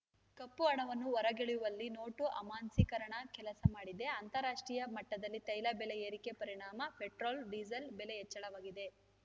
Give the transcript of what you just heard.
ಕಪ್ಪುಹಣವನ್ನು ಹೊರಗೆಳೆಯುವಲ್ಲಿ ನೋಟು ಅಮಾನ್ಸಿಕರಣ ಕೆಲಸ ಮಾಡಿದೆ ಅಂತಾರಾಷ್ಟ್ರೀಯ ಮಟ್ಟದಲ್ಲಿ ತೈಲ ಬೆಲೆ ಏರಿಕೆ ಪರಿಣಾಮ ಪೆಟ್ರೋಲ್‌ ಡೀಸೆಲ್‌ ಬೆಲೆ ಹೆಚ್ಚಳವಾಗಿದೆ